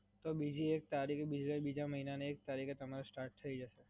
તો બીજા મહિના ની એક તારીખે તમારે સ્ટાર્ટ થય જશે.